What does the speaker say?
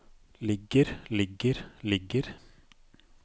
ligger ligger ligger